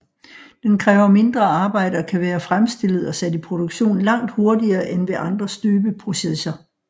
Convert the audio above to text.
Den kræver mindre arbejde og kan være fremstillet og sat i produktion langt hurtigere end ved andre støbeprocesser